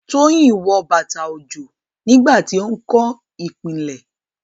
Toyin wọ bàtà òjò nígbà tí ó ń kọ́ ìpìlẹ̀.